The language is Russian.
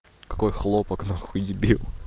какой хлопок нахуй дебил